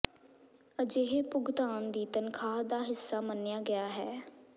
ਅਜਿਹੇ ਭੁਗਤਾਨ ਦੀ ਤਨਖਾਹ ਦਾ ਹਿੱਸਾ ਮੰਨਿਆ ਗਿਆ ਹੈ